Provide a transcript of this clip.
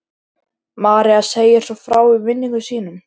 María segir svo frá í minningum sínum: